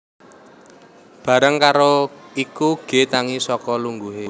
Bareng karo iku G tangi saka lungguhe